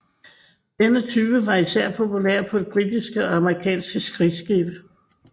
Denne type var især populær på britiske og amerikanske krigsskibe